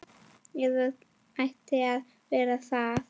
Eða ætti að vera það.